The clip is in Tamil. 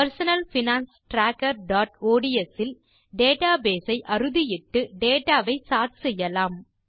personal finance trackerஒட்ஸ் இல் டேட்டாபேஸ் ஐ அறுதியிட்டு டேட்டா வை சோர்ட் செய்யலாம்